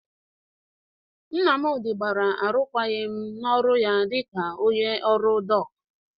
Nnamdị gbara arụkwagịm n'ọrụ ya dịka onye ọrụ dọk.